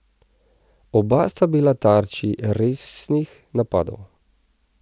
Oba sta bila tarči resnih napadov.